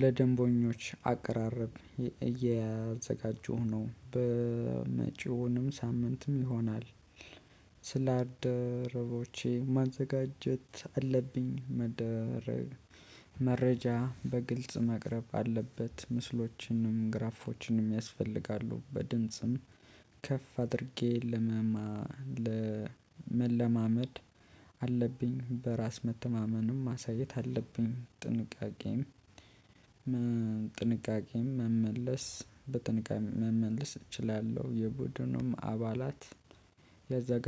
ለደንቦኞች አቀራረብ እያዘጋጁሁ ነው በመጪውንም ሳምንትም ይሆናል። ስላደረቦቼ ማዘጋጀት አለብኝ። መረጃ በግልጽ መቅረብ አለበት። ምስሎችንም ግራፎችንም ያስፈልጋሉ። በድንጽም ከፍ አድርጌ ለመመድ። መለማመድ አለብኝ። በራስ መተማመንም ማሳየት አለብኝ። ጥንቃቄም መመለስ በጥንቃቄ መመለስ እችላለሁ። የቡድኑም አባላት ሊያዘጋ